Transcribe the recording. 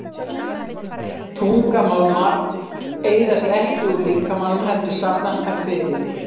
Þungmálmar eyðast ekki úr líkamanum heldur safnast þar fyrir.